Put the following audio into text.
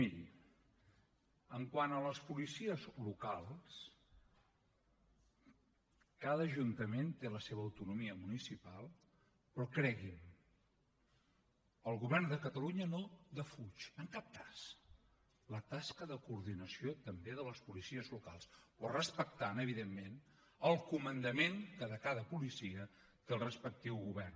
miri quant a les policies locals cada ajuntament té la seva autonomia municipal però cregui’m el govern de catalunya no defuig en cap cas la tasca de coordinació també de les policies locals però respectant evidentment el comandament que de cada policia té el respectiu govern